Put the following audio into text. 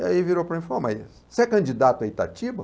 Aí virou para mim e falou, mas você é candidato à Itatiba?